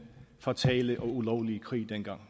fatale og ulovlige krig